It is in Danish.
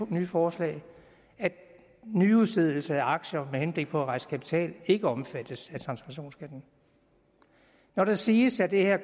nye forslag at nyudstedelse af aktier med henblik på at rejse kapital ikke omfattes af transaktionsskatten når der siges at det her